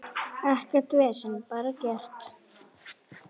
Ekkert vesen, bara gert.